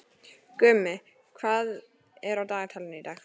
Gumi, hvað er á dagatalinu í dag?